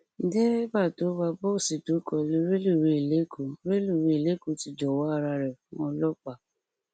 derébà tó wá bọọsì tó kọlu rélùwéè lẹkọ rélùwéè lẹkọ ti jọwọ ara rẹ fún ọlọpàá